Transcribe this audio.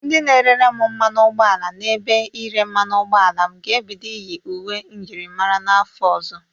Ndị na-erere m mmanụ ụgbọ ala n'ebe ire mmanụ ụgbọ ala m ga-ebido iye uwe myịrịmara n'afọ ọzọ.